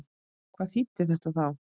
Hvað þýddi þetta þá?